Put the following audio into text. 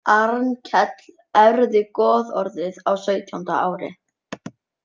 Arnkell erfði goðorðið á sautjánda ári.